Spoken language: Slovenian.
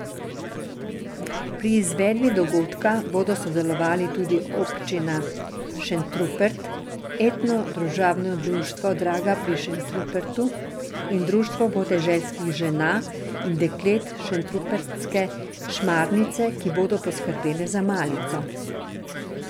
Pri izvedbi dogodka bodo sodelovali tudi Občina Šentrupert, Etno družabno društvo Draga pri Šentrupertu in Društvo podeželskih žena in deklet Šentrupertske šmarnice, ki bodo poskrbele za malico.